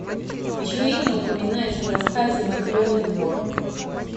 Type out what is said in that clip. чье имя упоминается в рассказе матренин двор